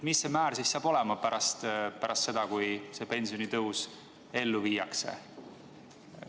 Missugune on see määr pärast seda, kui pensionitõus ellu viiakse?